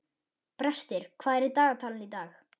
Brestir, hvað er í dagatalinu í dag?